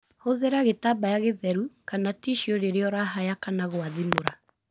Hũthĩra gĩtambaya gĩtheru kana ticiu rĩrĩa ũrahaya kana gwathimũra.